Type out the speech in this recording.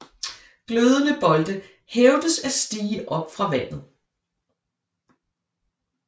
Glødende bolde hævdes at stige op fra vandet